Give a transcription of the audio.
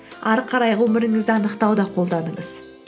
ары қарай ғұмырыңызды анықтауда қолданыңыз